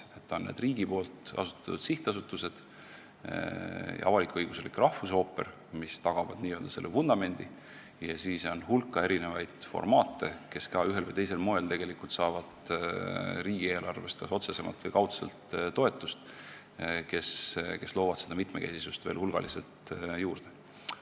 Need on riigi asutatud sihtasutused, avalik-õiguslik rahvusooper, mis tagavad n-ö selle vundamendi, ja siis on hulk erinevas formaadis töötavaid teatreid, kes ka ühel või teisel moel saavad riigieelarvest kas otsesemalt või kaudselt toetust ja loovad seda mitmekesisust veel hulgaliselt juurde.